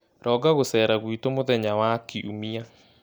Ronga gũceera gwitũ mũthenya wa Kiumia.